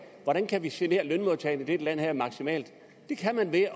hvordan kan vi genere lønmodtagerne i det her land maksimalt det kan man ved